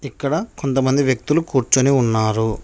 ఇక్కడ కొంతమంది వ్యక్తులు కూర్చోని ఉన్నారు.